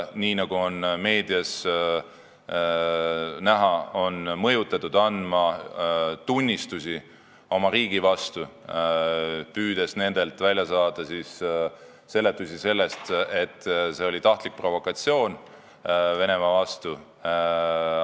Nii nagu on meedias näha olnud, neid on mõjutatud andma tunnistusi oma riigi vastu, püüdes nendelt saada seletusi, nagu see oleks olnud tahtlik provokatsioon Venemaa vastu.